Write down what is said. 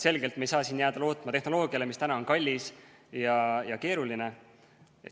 Selgelt me ei saa siin jääda lootma tehnoloogiale, mis on kallis ja keeruline.